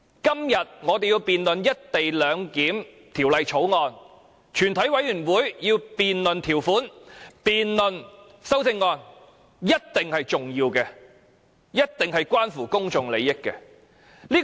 今天，我們要辯論《條例草案》，全委會要辯論各條文的修正案，這一定是重要的，一定是關乎公眾利益的。